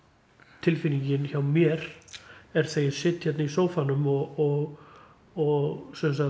tilfinningin hjá mér er þegar ég sit hérna í sófanum og og